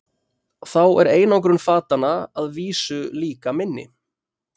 Þá er einangrun fatanna að vísu líka minni.